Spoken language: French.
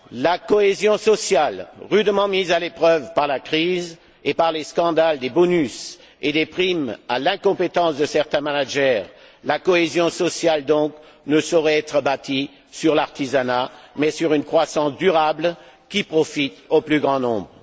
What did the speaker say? La cohésion sociale rudement mise à l'épreuve par la crise et par les scandales des bonus et des primes à l'incompétence de certains managers ne saurait être bâtie sur l'artisanat, mais sur une croissance durable qui profite au plus grand nombre.